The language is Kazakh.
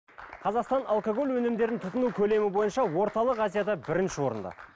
қазақстан алкоголь өнімдерін тұтыну көлемі бойынша орталық азияда бірінші орында